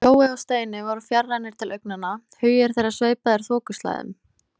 Jói og Steini voru fjarrænir til augnanna, hugir þeirra sveipaðir þokuslæðum.